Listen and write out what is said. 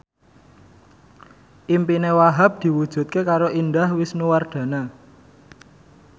impine Wahhab diwujudke karo Indah Wisnuwardana